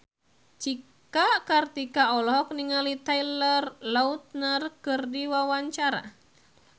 Cika Kartika olohok ningali Taylor Lautner keur diwawancara